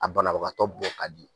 A banabagatɔ bɔ k'a di